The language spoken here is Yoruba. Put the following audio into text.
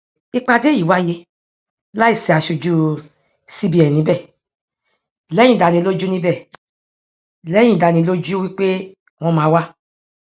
ìpàdé yìí wáyé láì sì asojú cbn níbẹ lẹyìn ìdánilójú níbẹ lẹyìn ìdánilójú wípé wọn máa wá